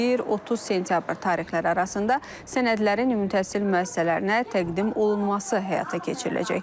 1-30 sentyabr tarixləri arasında sənədlərin ümumi təhsil müəssisələrinə təqdim olunması həyata keçiriləcək.